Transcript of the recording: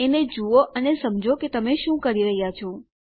એને જુઓ અને સમજો કે તમે શું કરી રહ્યા છો